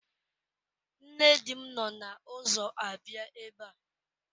Nne di m nọ n'ụzọ abịa ebe a.